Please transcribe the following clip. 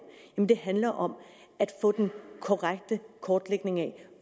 det handler om at få den korrekte kortlægning af